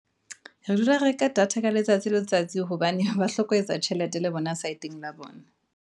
Re dula reka data ka letsatsi le letsatsi hobane ba hloka ho etsa tjhelete le bona saeteng la bona.